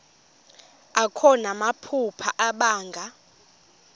akho namaphupha abanga